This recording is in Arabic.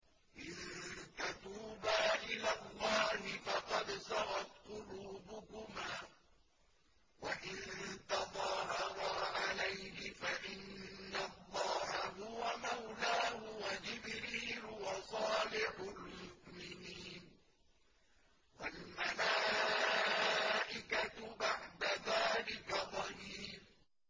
إِن تَتُوبَا إِلَى اللَّهِ فَقَدْ صَغَتْ قُلُوبُكُمَا ۖ وَإِن تَظَاهَرَا عَلَيْهِ فَإِنَّ اللَّهَ هُوَ مَوْلَاهُ وَجِبْرِيلُ وَصَالِحُ الْمُؤْمِنِينَ ۖ وَالْمَلَائِكَةُ بَعْدَ ذَٰلِكَ ظَهِيرٌ